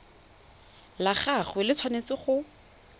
la gagwe le tshwanetse go